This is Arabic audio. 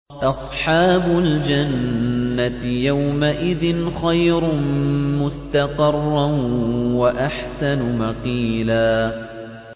أَصْحَابُ الْجَنَّةِ يَوْمَئِذٍ خَيْرٌ مُّسْتَقَرًّا وَأَحْسَنُ مَقِيلًا